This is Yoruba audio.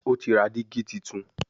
O tí ra digi títún.